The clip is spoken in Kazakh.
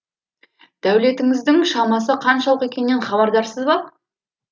дәулетіңіздің шамасы қаншалық екенінен хабардарсыз ба